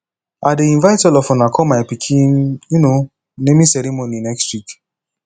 i dey invite all of una come my pikin um naming ceremony next week